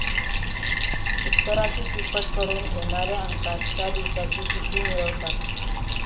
उत्तराची तिप्पट करून येणाऱ्या अंकात त्या दिवसाची तिथी मिळवतात